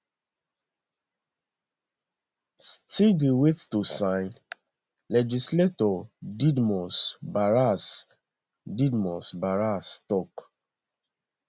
[still dey wait to sign] legislator didmus barasa didmus barasa tok